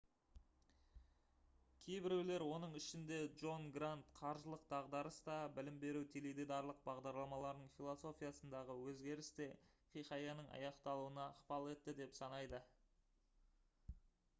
кейбіреулер оның ішінде джон грант қаржылық дағдарыс та білім беру теледидарлық бағдарламаларының философиясындағы өзгеріс те хикаяның аяқталуына ықпал етті деп санайды